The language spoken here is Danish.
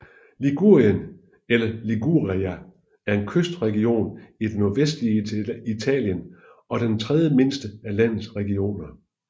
Ligurien eller Liguria er en kystregion i det nordvestlige Italien og den tredjemindste af landets regioner